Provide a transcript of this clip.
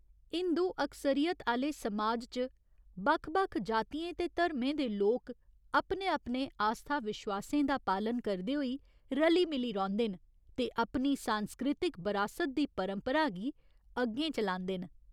हिंदू अकसरीयत आह्‌ले समाज च बक्ख बक्ख जातियें ते धर्में दे लोक अपने अपने आस्था विश्वासें दा पालन करदे होई रली मिली रौंह्दे न ते अपनी सांस्कृतिक बरासत दी परंपरा गी अग्गें चलांदे न।